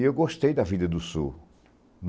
E eu gostei da vida do sul.